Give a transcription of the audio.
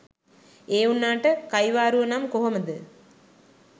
ඒ වුනාට කයිවාරුව නම් කොහොමද.